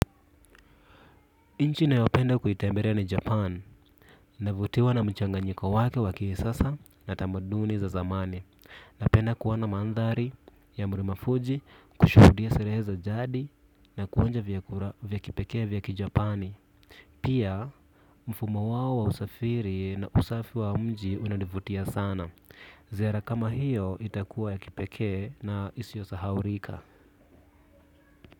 Nchi ninayopenda kuitembelea ni japan navutiwa na mchanganyiko wake wakisasa na tamaduni za zamani na penda kuona mandhari ya mlima fuji kushuhudia sherehe za jadi na kuonja vya kipekee vya kijapani pia mfumo wao wa usafiri na usafi wa mji unanivutia sana ziara kama hiyo itakuwa ya kipekee na isiyosahaulika.